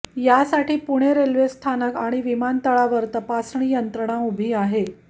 यासाठी पुणे रेल्वेस्थानक आणि विमानतळावर तपासणी यंत्रणा उभी आहे